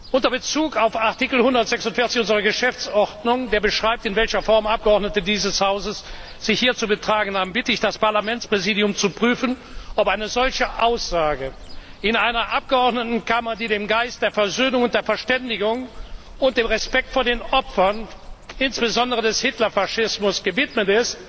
Unter Bezug auf Artikel 146 unserer Geschäftsordnung, der beschreibt, in welcher Form Abgeordnete dieses Hauses sich hier zu betragen haben, bitte ich das Parlamentspräsidium zu prüfen, ob eine solche Aussage in einer Abgeordnetenkammer zulässig ist, die dem Geist der Versöhnung und der Verständigung und dem Respekt vor den Opfern, insbesondere des Hitler Faschismus, verpflichtet